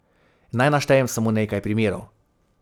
Naj naštejem samo nekaj primerov.